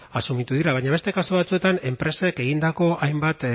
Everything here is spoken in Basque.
asumitu dira baina beste kasu batzuetan enpresek egindako hainbat